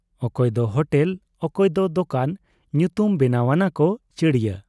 ᱚᱠᱚᱭ ᱫᱚ ᱦᱚᱴᱮᱞ, ᱚᱠᱚᱭ ᱫᱚ ᱫᱚᱠᱟᱱ ᱧᱩᱛᱩᱢ ᱵᱮᱱᱟᱣ ᱟᱱᱟᱠᱚ ᱪᱟᱹᱲᱤᱭᱟᱹ ᱾